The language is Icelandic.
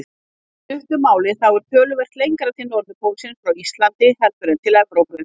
Í stuttu máli þá er töluvert lengra til norðurpólsins frá Íslandi heldur en til Evrópu.